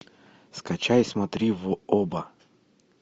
скачай смотри в оба